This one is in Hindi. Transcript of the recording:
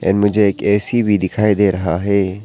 इनमें मुझे एक ए_सी भी दिखाई दे रहा है।